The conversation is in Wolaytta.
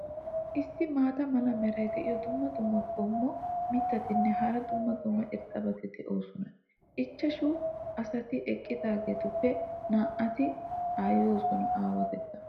issi maata mala meray diyo dumma dumma qommo mitattinne hara dumma dumma irxxabati de'oosona. ichchashshu asati eqqidaageetuppe naa"ati aayyonne aawaata.